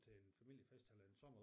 Til en familiefest eller en sommer